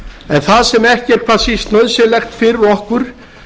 en það sem ekki er hvað síst nauðsynlegt fyrir okkur